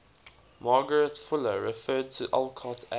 margaret fuller referred to alcott as